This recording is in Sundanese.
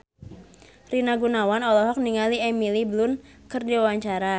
Rina Gunawan olohok ningali Emily Blunt keur diwawancara